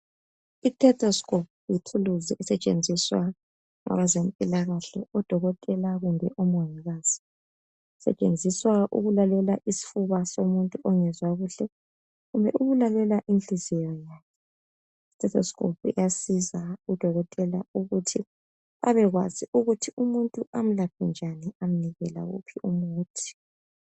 Itetheskopu yithuluzi esetshenziswa ngabezempilakahle, odokotela kumbe omongikazi. Isetshenziswa ukulalela isfuba somuntu ongezwa kuhle, kumbe ukulalela inhliziyo yakhe. Itetheskupo iyasiza udokotela ukuthi abekwazi ukuthi umuntu amlaphe njani, amnike lawuphi umuthi.